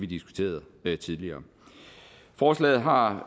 diskuterede tidligere forslaget har